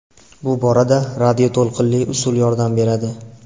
Bu borada radioto‘lqinli usul yordam beradi.